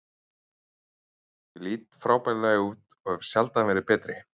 Ég lít frábærlega út og hef sjaldan verið betri.